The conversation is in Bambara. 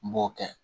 N b'o kɛ